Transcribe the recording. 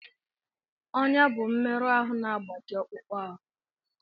Ọnya bụ mmerụ ahụ na-agbaji akpụkpọ ahụ